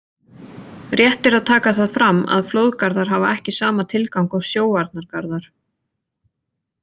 Rétt er að taka það fram að flóðgarðar hafa ekki sama tilgang og sjóvarnargarðar.